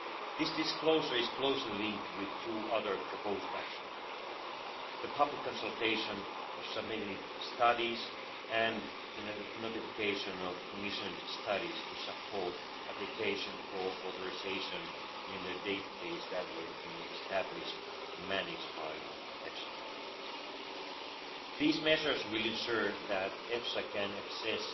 This disclosure is more closely linked with two other proposed actions public consultation on submitted studies and the notification of commissioned studies to support application for authorisation in a database that will be established and managed by EFSA. These measures will ensure that EFSA can access